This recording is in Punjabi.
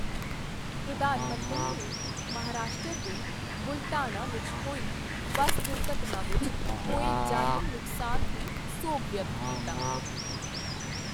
ਪ੍ਰਧਾਨ ਮੰਤਰੀ ਨੇ ਮਹਾਰਾਸ਼ਟਰ ਦੇ ਬੁਲਢਾਣਾ ਵਿੱਚ ਹੋਈ ਬੱਸ ਦੁਰਘਟਨਾ ਵਿੱਚ ਹੋਏ ਜਾਨੀ ਨੁਕਸਾਨ ਤੇ ਸੋਗ ਵਿਅਕਤ ਕੀਤਾ